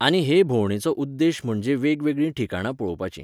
आनी हे भोवंडेचो उद्देश म्हणजे वेगवेगळीं ठिकाणां पळोवपाचीं.